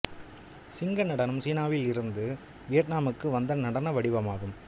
சிங்க நடனம் சீனாவில் இருந்து வியட்நாமுக்கு வந்த நடன வடிவமாகும்